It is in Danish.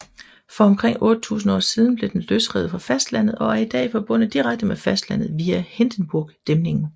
For omkring 8000 år siden blev den løsrevet fra fastlandet og er i dag forbundet direkte med fastlandet via Hindenburgdæmningen